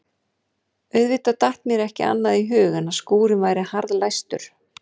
Auðvitað datt mér ekki annað í hug en að skúrinn væri harðlæstur.